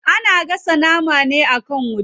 Ana gasa nama ne akan wuta.